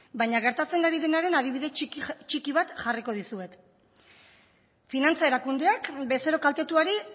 baina gertatzen ari denaren adibide txiki bat jarriko dizuet finantza erakundeak bezero kaltetuari